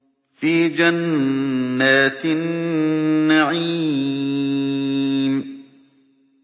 فِي جَنَّاتِ النَّعِيمِ